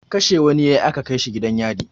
Kashe wani ya yi aka kai shi gidan yari.